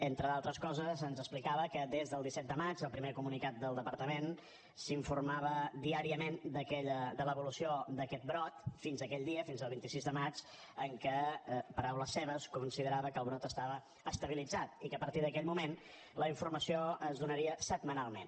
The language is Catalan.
entre d’altres coses ens explicava que des del disset de maig del primer comunicat del departament s’informava diàriament de l’evolució d’aquest brot fins a aquell dia fins al vint sis de maig en què paraules seves considerava que el brot estava estabilitzat i que a partir d’aquell moment la informació es donaria setmanalment